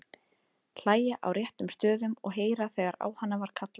Hlæja á réttum stöðum og heyra þegar á hana var kallað.